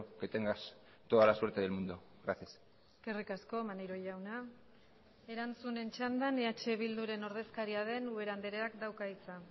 que tengas toda la suerte del mundo gracias eskerrik asko maneiro jauna erantzunen txandan eh bilduren ordezkaria den ubera andreak dauka hitza